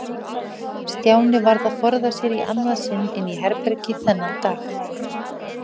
Stjáni varð að forða sér í annað sinn inn í herbergi þennan dag.